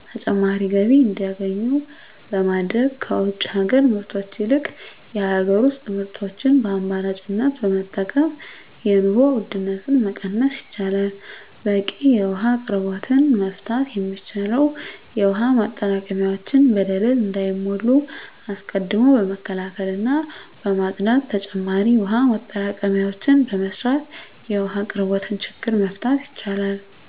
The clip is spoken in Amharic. ተጨማሪ ገቢ እንዲያገኙ በማድረግ ከውጭ ሀገር ምርቶች ይልቅ የሀገር ውስጥ ምርቶችን በአማራጭነት በመጠቀም የኑሮ ውድነትን መቀነስ ይቻላል። በቂ የውሀ አቅርቦትን መፍታት የሚቻለው የውሀ ማጠራቀሚያዎች በደለል እንዳይሞሉ አስቀድሞ በመከላከልና በማፅዳት ተጨማሪ የውሀ ማጠራቀሚያዎችን በመስራት የውሀ አቅርቦትን ችግር መፍታት ይቻላል።